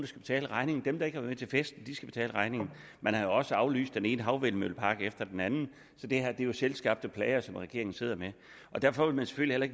skal betale regningen dem der ikke har været med til festen skal betale regningen man har også aflyst den ene havvindmøllepark efter den anden så det her er jo selvskabte plager som regeringen sidder med derfor vil man selvfølgelig